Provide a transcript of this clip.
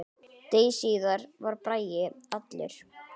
Degi síðar var Bragi allur.